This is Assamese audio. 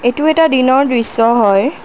এইটো এটা দিনৰ দৃশ্য হয়।